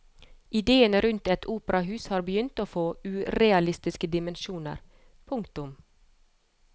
Idéene rundt et operahus har begynt å få urealistiske dimensjoner. punktum